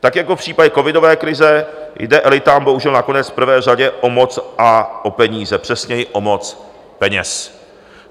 Tak jako v případě covidové krize jde elitám bohužel nakonec v prvé řadě o moc a o peníze, přesněji o moc peněz.